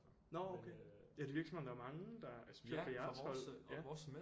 Nåh okay ja det virker som om der er mange der specielt fra jeres hold ja